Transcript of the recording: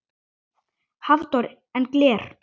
Hafþór: En gler?